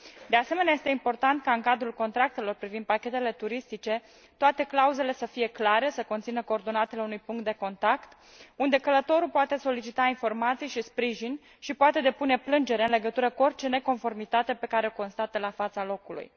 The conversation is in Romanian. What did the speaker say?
De asemenea, este important ca, în cadrul contractelor privind pachetele turistice, toate clauzele să fie clare, să conțină coordonatele unui punct de contact unde călătorul poate solicita informații și sprijin și poate depune plângere în legătură cu orice neconformitate pe care o constată la fața locului.